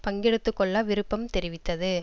பங்கெடுத்துக்கொள்ள விருப்பம் தெரிவித்தது